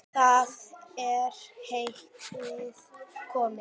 Þaðan er heitið komið.